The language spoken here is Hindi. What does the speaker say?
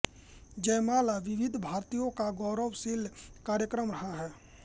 जयमाला विविध भारती का गौरवशाली कार्यक्रम रहा है